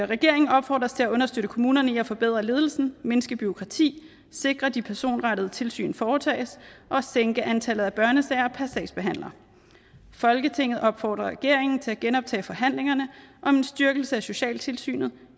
regeringen opfordres til at understøtte kommunerne i at forbedre ledelsen mindske bureaukrati sikre de personrettede tilsyn foretages og sænke antallet af børnesager per sagsbehandler folketinget opfordrer regeringen til at genoptage forhandlinger om en styrkelse af socialtilsynet